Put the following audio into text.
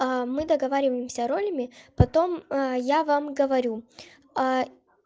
мы договариваемся ролями потом я вам говорю